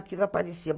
Aquilo aparecia.